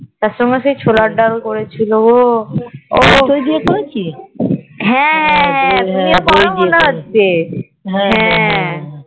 আর তোমার সেই ছোলার ডাল করেছিল তুমিও করো মনে হচ্ছে